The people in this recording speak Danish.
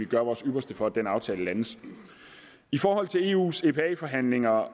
gøre vores ypperste for at den aftale landes i forhold til eu’s epa forhandlinger